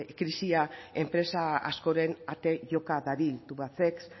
krisia enpresa askoren ate joka dabil tubacex